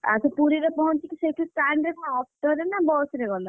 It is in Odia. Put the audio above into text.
ଆଉ ତୁ ପୁରୀ ରେ ପହଞ୍ଚିକି ସେଠି stand ରେ କଣ auto ରେ ନା ବସ ରେ ଗଲ?